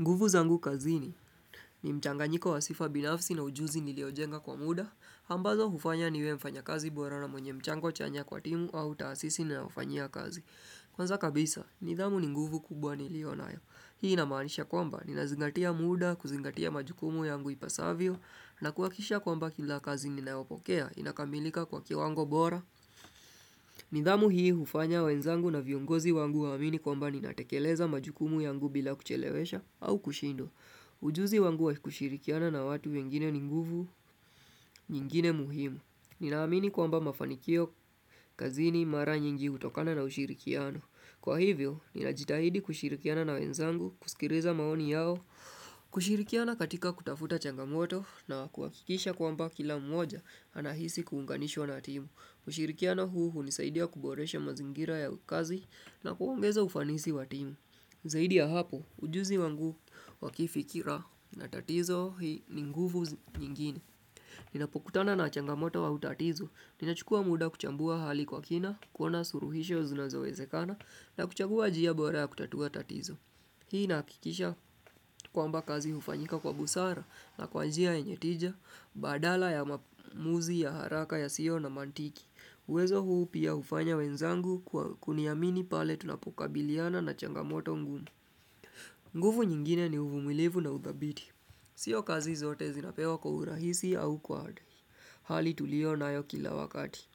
Nguvu zangu kazini ni mchanganyiko wa sifa binafsi na ujuzi niliojenga kwa muda, ambazo hufanya niwe mfanya kazi bora na mwenye mchango chanya kwa timu au taasisi niliofanya kazi. Kwanza kabisa, nidhamu ni nguvu kubwa nilio na ya. Hii inamanisha kwamba, ninazingatia muda, kuzingatia majukumu yangu ipasavyo, na kuhakisha kwamba kila kazi ninayopokea inakamilika kwa kiwango bora. Nidhamu hii hufanya wenzangu na viongozi wangu waamini kwamba ninatekeleza majukumu yangu bila kuchelewesha au kushindwa. Ujuzi wangu wa kushirikiana na watu wengine ni nguvu, nyingine muhimu. Ninaamini kwamba mafanikio kazini mara nyingi utokana na ushirikiano. Kwa hivyo, ninajitahidi kushirikiana na wenzangu, kusikiliza maoni yao. Kushirikiana katika kutafuta changamoto na kuwakikisha kwamba kila mmoja anahisi kuunganishwa na timu kushirikiana huu ulisaidia kuboresha mazingira ya kazi na kuongeza ufanisi wa timu Zaidi ya hapo ujuzi wangu wa kifikira na tatizo hii ni nguvu nyingine Ninapokutana na changamoto wa tatizo, ninachukua muda kuchambua hali kwa kina kuona suluhisho zinazoezekana na kuchagua jia bora ya kutatua tatizo Hii nakikisha kwamba kazi ufanyika kwa busara na kwa njia yenye tija, badala ya maamuzi ya haraka yasiyo na manthiki. Uwezo huu pia ufanya wenzangu kuniamini pale tunapokabiliana na changamoto ngumu. Nguvu nyingine ni uvumilivu na udhabiti. Sio kazi zote zinapewa kwa urahisi au kwa hali tulio nayo kila wakati.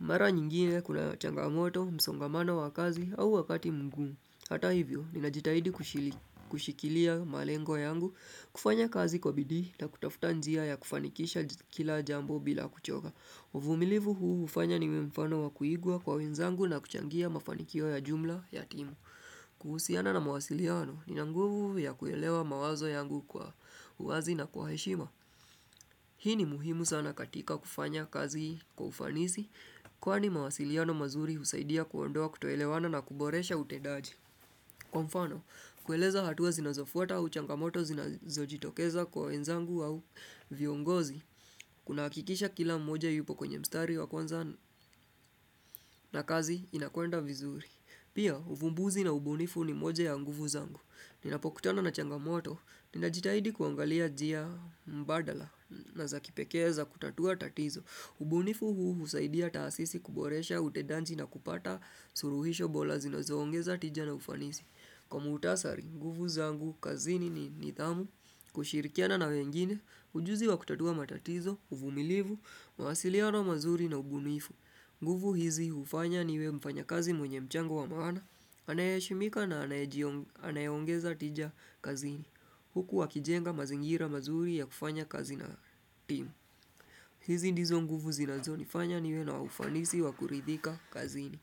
Mara nyingine kuna changamoto, msongamano wa kazi au wakati mgumu Hata hivyo, ninajitahidi kushili. Kushikilia malengo yangu, kufanya kazi kwa bidii na kutafuta njia ya kufanikisha kila jambo bila kuchoga. Uvumilivu huu ufanya niwe mfano wa kuigwa kwa wenzangu na kuchangia mafanikio ya jumla ya timu. Kuhusiana na mawasiliano nina nguvu ya kuelewa mawazo yangu kwa uazi na kwa heshima. Hii ni muhimu sana katika kufanya kazi kwa ufanisi, kwani mawasiliano mazuri usaidia kuondoa kutoelewana na kuboresha utendaji. Kwa mfano, kueleza hatua zinazofuata u changamoto zinazojitokeza kwa wenzangu au viongozi. Kuna hakikisha kila mmoja yupo kwenye mstari wa kwanza na kazi inakuenda vizuri. Pia, uvumbuzi na ubunifu ni moja ya nguvu zangu. Ninapokutana na changamoto, ninajitahidi kuangalia njia mbadala na za kipekee za kutatua tatizo. Ubunifu huu husaidia taasisi kuboresha, utendaji na kupata suluhisho bora zinazoongeza tija na ufanisi. Kwa mutasari, nguvu zangu, kazini ni nidhamu, kushirikiana na wengine, ujuzi wa kutatua matatizo, uvumilivu, mahasiliano mazuri na ubunifu. Nguvu hizi ufanya niwe mfanyakazi mwenye mchango wa maana, anayeshimika na anayongeza tija kazini. Huku wakijenga mazingira mazuri ya kufanya kazi na timu. Hizi ndizo nguvu zinazo nifanya niwe na ufanisi wa kuridhika kazini.